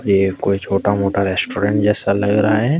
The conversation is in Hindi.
ये कोई छोटा मोटा कोई रेस्टोरेंट जैसा लग रहा है।